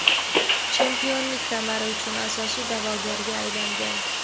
chempionlik kamari uchun asosiy da’vogarga aylangan;.